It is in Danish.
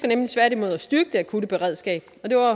nemlig tværtimod at styrke det akutte beredskab